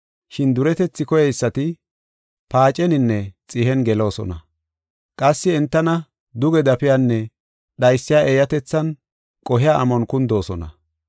Shin duretethi koyeysati paaceninne xihen geloosona. Qassi entana duge dafiyanne dhaysiya eeyatethinne qohiya amon kundoosona.